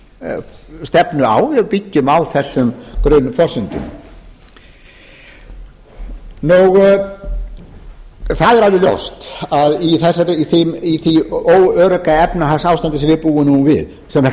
efnahagsstefnu á við byggjum á þessum grunnforsendum það er alveg ljóst að í því óörugga efnahagsástandi sem við búum nú við sem kallað